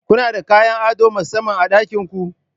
Kuna da kayan ado na musamman a ɗakin ku?